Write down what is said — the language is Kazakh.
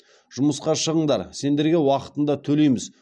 жұмысқа шығыңдар сендерге уақытында төлейміз